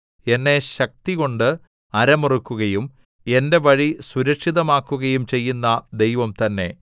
എന്നെ ശക്തികൊണ്ട് അരമുറുക്കുകയും എന്റെ വഴി സുരക്ഷിതമാക്കുകയും ചെയ്യുന്ന ദൈവം തന്നെ